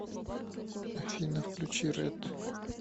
афина включи рэд